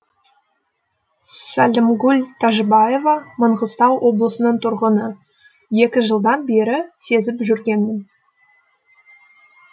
сәлімгүл тәжібаева маңғыстау облысының тұрғыны екі жылдан бері сезіп жүргенмін